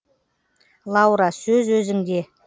лаура сөз өзіңде